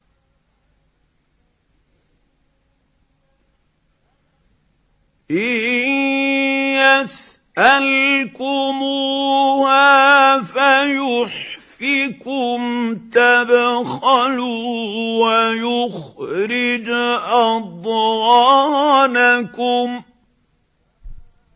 إِن يَسْأَلْكُمُوهَا فَيُحْفِكُمْ تَبْخَلُوا وَيُخْرِجْ أَضْغَانَكُمْ